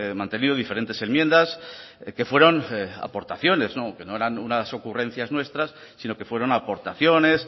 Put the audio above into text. mantenido diferentes enmiendas que fueron aportaciones que no eran unas ocurrencias nuestras sino que fueron aportaciones